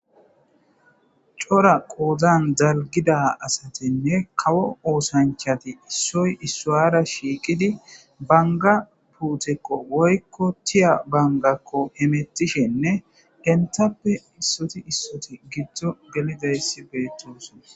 Cora qodani daligida asatinne kawo osanichchati issoyi isara shiqiddi banigga luttekko woyikko tiya banigakko hemetishshenne enitappekka issoti issoti giddoni gelidayisi betosona